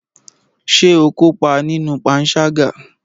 Ṣé o kópa nínú panṣágà?